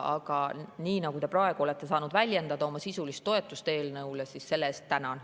Aga praegu te olete saanud väljendada oma sisulist toetust eelnõule ja selle eest tänan.